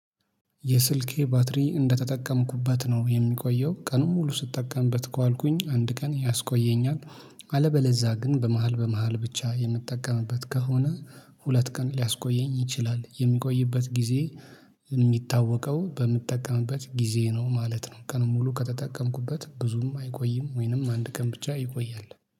የስልኬ ባትሪ እንደተጠቀምኩበት ነው የሚቆየው ቀኑን ሙሉ ስጠቀምበት ከዋልኩኝ አንድ ቀን ያስቆየኛል። አለበለዛ ግን በመሃል በመሃል ብቻ የምጠቀምበት ከሆነ ሁለት ቀን ሊያስቆየኝ ይችላል የሚቆይበት ጊዜ። የሚታወቀው በምጠቀምበት ጊዜ ነው ማለት ነው። ቀን ሙሉ ከተጠቀምኩበት ብዙም አይቆይም ወይንም አንድ ቀን ብቻ ይቆያል።